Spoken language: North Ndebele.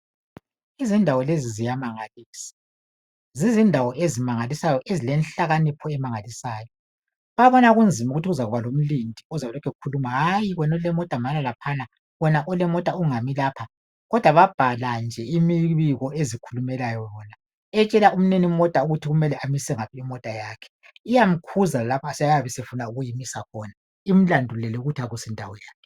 Izindawo lezi ziyamangalisa zizindawo ezimangalisayo ezilenhlakanipho emangalisayo babona kunzima ukuthi kuzakuba lomlindi ozabe elokhu ekhuluma hayi wena olemota mana laphana wena olemota ungami lapho kodwa babhala nje imibiko ezikhulumayo. Iyamtshela umninimota ukuthi kumele amise ngaphi imota yakhe iyamkhuza lapho efuna ukumisa khona imlandulele ukuthi akusindawo yakhe.